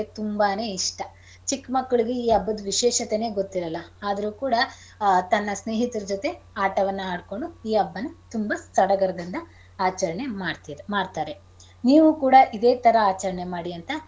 ತುಂಬಾನೇ ಇಷ್ಟ. ಚಿಕ್ ಮಕ್ಳಿಗೆ ಈ ಹಬ್ಬದ್ ವಿಶೇಷತೆನೆ ಗೊತ್ತಿರಲ್ಲ ಆದ್ರೂ ಕೂಡ ಆ ತನ್ನ ಸ್ನೇಹಿತರ ಜೊತೆ ಆಟವನ್ನ ಆಡ್ಕೊಂಡು ಈ ಹಬ್ಬನಾ ತುಂಬಾ ಸಡಗರದಿಂದ ಆಚರಣೆ ಮಾಡ್ತೀರ ಮಾಡ್ತಾರೆ ನೀವು ಕೂಡ ಇದೆ ತರ ಆಚರಣೆ ಮಾಡಿ ಅಂತ.